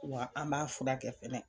Wa an b'a furakɛ fɛnɛ.